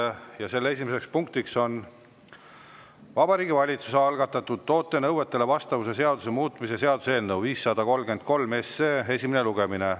Esimene punkt on Vabariigi Valitsuse algatatud toote nõuetele vastavuse seaduse muutmise seaduse eelnõu 533 esimene lugemine.